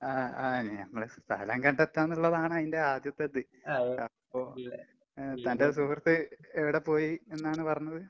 ആഹ് ആഹ് ഞങ്ങള് സ്ഥലം കണ്ടെത്താന്നിള്ളതാണ് അയിന്റെ ആദ്യത്തെത്. അപ്പൊ ഏഹ് തന്റെ സുഹൃത്ത് എവടെപ്പോയി എന്നാണ് പറഞ്ഞത്?